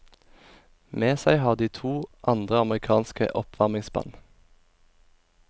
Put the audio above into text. Med seg har de to andre amerikanske oppvarmingsband.